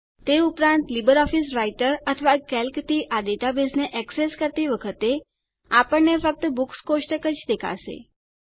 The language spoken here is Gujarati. તે ઉપરાંત લીબરઓફીસ રાઈટર અથવા કેલ્કથી આ ડેટાબેઝને એક્સેસ કરતી વખતે આપણને ફક્ત બુક્સ કોષ્ટક જ દેખાશે